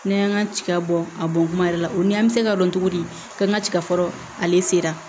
Ne y'an ka tiga bɔ a bɔ kuma yɛrɛ la o ni an bɛ se ka dɔn cogo di k'an ka tiga fɔlɔ ale sera